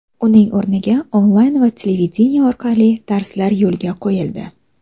Uning o‘rniga onlayn va televideniye orqali darslar yo‘lga qo‘yildi.